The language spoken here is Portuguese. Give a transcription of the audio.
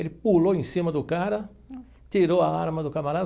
Ele pulou em cima do cara, tirou a arma do camarada.